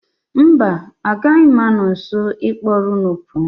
Mba, agaghị m anọ nso ịkpọrọ unu pụọ.